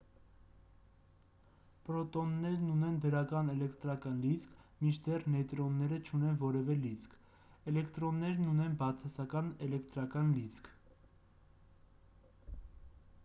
պրոտոններն ունեն դրական էլեկտրական լիցք մինչդեռ նեյտրոնները չունեն որևէ լիցք էլեկտրոններն ունեն բացասական էլեկտրական լիցք